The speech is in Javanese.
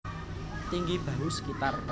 Tinggi bahu sekitar